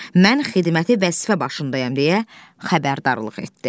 Mən xidməti vəzifə başındayam, deyə xəbərdarlıq etdi.